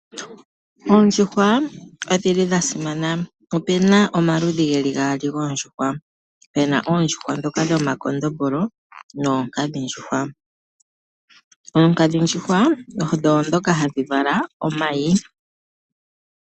Oondjuhwa odhi li dhasimana. Opuna omaludhi gaali goondjuhwa. Opuna oondjuhwa ndhoka dhomakondombolo noonkadhindjuhwa . Oonkadhindjuhwa odho ndhoka hadhi vala omayi .